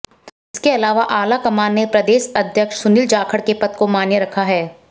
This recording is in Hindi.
इसके अलावा आला कमान ने प्रदेश अध्यक्ष सुनील जाखड़ के पद को मान्य रखा है